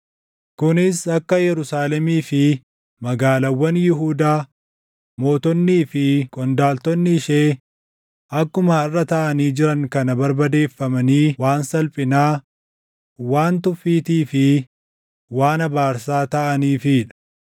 Kunis akka Yerusaalemii fi magaalaawwan Yihuudaa, mootonnii fi qondaaltonni ishee akkuma harʼa taʼanii jiran kana barbadeeffamanii waan salphinaa, waan tuffiitii fi waan abaarsaa taʼaniifii dha;